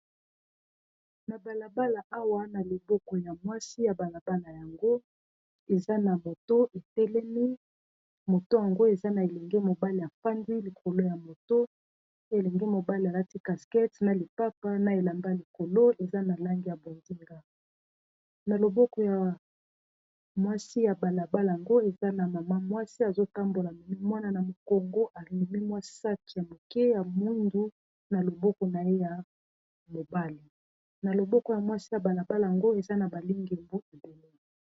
na balabala awa na loboko ya mwasi ya balabala yango eza na moto etelemi i moto yango eza na elenge mobali afandi likolo ya moto elenge mobali alati caskete na lipapa na elamba y likolo eza na langi ya bozinga na loboko ya mwasi ya balabala yango eza na mama mwasi azotambola amemi mwana na mokongo amemi mwa sake ya moke ya moyindo na loboko na ye ya mobali na loboko ya mwasi ya balabala yango eza na balingi mbutu deni